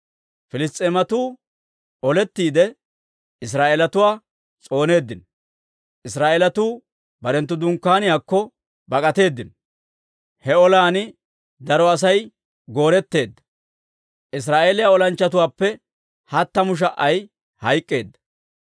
Piliss's'eematuu olettiide, Israa'eelatuwaa s'ooneeddino; Israa'eelatuu barenttu dunkkaaniyaakko bak'atteedino. He olan daro Asay goora'etteedda; Israa'eeliyaa olanchchatuwaappe hattamu sha"ay hayk'k'eedda.